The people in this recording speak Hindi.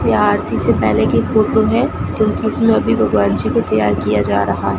यह आरती से पहले की फोटो है क्योंकि इसमें अभी भगवान जी को तैयार किया जा रहा।